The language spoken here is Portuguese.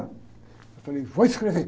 Eu falei, vou escrever.